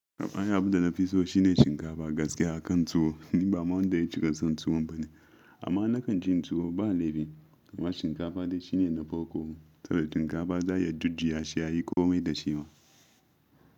Abun da na fi so shi ne shinkafa gaskiya kan tuwo, ni ba man da ya ci ƙasan tuwo bane. Amma na kan cin tuwo, ba laifi, amma shinkafa dai shi ne na farko. Saboda shinkafa za a iya jujjuya shi a yi komai da shi ma.